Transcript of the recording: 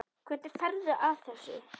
Hvernig ferðu að þessu?